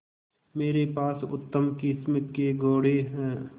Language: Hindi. मेरे पास उत्तम किस्म के घोड़े हैं